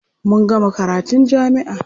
Mun gama karatun jami'a.